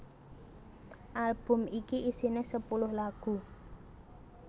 Album iki isiné sepuluh lagu